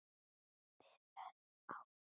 Við vöðum áfram.